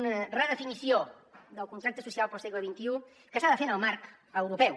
una redefinició del contracte social per al segle xxi que s’ha de fer en el marc europeu